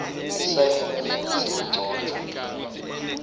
isayinwe futsi igcotjwe